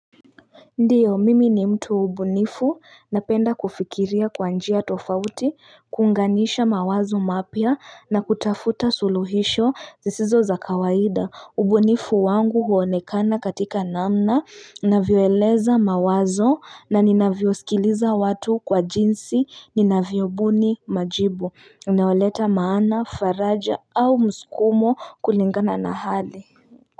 Ndiyo mimi ni mtu wa ubunifu napenda kufikiria kwa njia tofauti kuunganisha mawazo mapya na kutafuta suluhisho zisizo za kawaida ubunifu wangu huonekana katika namna navyoeleza mawazo na ninavyosikiliza watu kwa jinsi nina vyobuni majibu naoleta maana faraja au mskumo kulingana na hali.